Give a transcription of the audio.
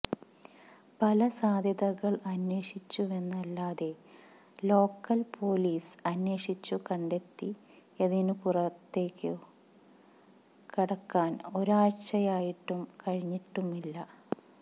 പല സാധ്യതകള് അന്വേഷിച്ചുവെന്നല്ലാതെ ലോക്കല് പൊലീസ് അന്വേഷിച്ചു കണ്ടെത്തിയതിനപ്പുറത്തേക്കു കടക്കാന് ഒരാഴ്ചയായിട്ടും കഴിഞ്ഞിട്ടുമില്ല